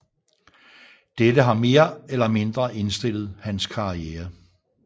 Dette har mere eller mindre indstillet hans karriere